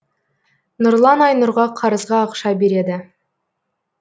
нұрлан айнұрға қарызға ақша береді